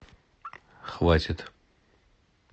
хватит